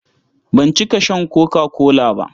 Ban cika shan koka-kola ba.